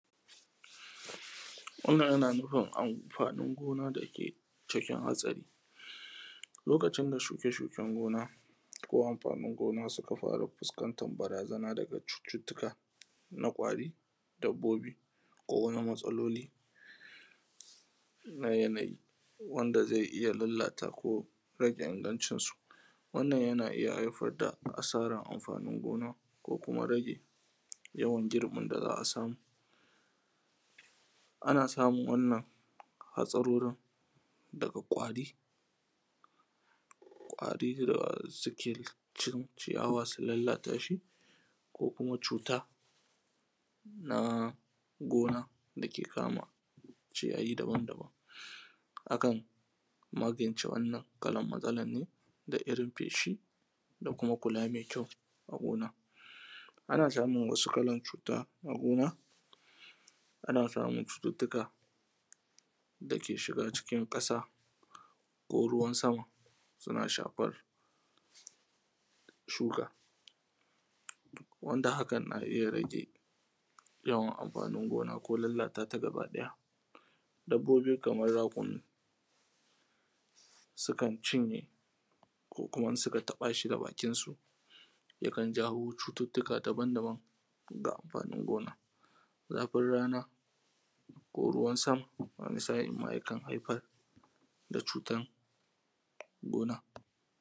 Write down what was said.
Wannan yana nufin amfanin gona, dake cikin hatsari. Lokacin da shukeshuken gona, ko amfanin gona suka fara fuskantan barazana na daga cututtuka na kwari. Dabbobi, ko wani matsaloli, na yanayi. Wanda zai iya lalata ko rage ingancin su. Wannan yana iya haifar da asarar amfanin gona, ko kuma rage yawan girbin da za’a samu. Ana samun wannan hatsarorin daga ƙwari. ƙwari dasuke, cin ciyawa su lallatashi. Ko kuma cuta na gona, dake kama ciyayi daban daban. Akan magance wannan matsalan ne, da irin feshi dakuma kula mai kyau a gona. Ana samun wasu lakan cuta na gona, ana samun cuttutuka dake shiga cikin ƙasa, ko ruwan sama suna shafar shuka. Wanda hakan na iya rage, yawan amfanin gona ko lallatata gaba ɗaya. Dabbobi kamar rakumi, sukan cinye ko kuma in suka taɓa shi da bakinsu, yakan jawo cututtuka daban daban, ga amfanin gona. Zafin rana ko ruwan sama. Wani sa’in ma yakan haifar da cutan gona.